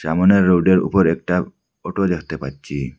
সামোনের রোডের উপরে একটা অটো দেখতে পাচ্ছি।